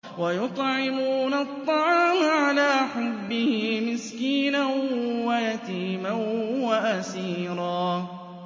وَيُطْعِمُونَ الطَّعَامَ عَلَىٰ حُبِّهِ مِسْكِينًا وَيَتِيمًا وَأَسِيرًا